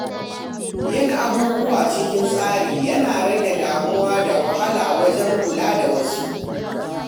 Yin abubuwa cikin tsari yana rage damuwa da wahala wajen kula da wasu.